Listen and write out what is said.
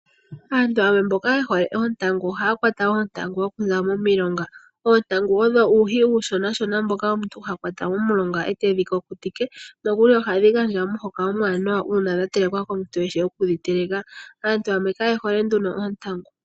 Oontangu owo uuhi mboka uushona wafa uuvolovolo nohawu adhika momilonga, aantu shampa yakwatwa oontangu ohaye dhi kukutike opo yedhi pakepo ngele dha kukuta, noha dhikala onga omweelelo momagumbo.